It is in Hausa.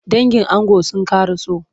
Dangin ango sun kara so.